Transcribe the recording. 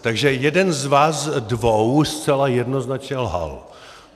Takže jeden z vás dvou zcela jednoznačně lhal.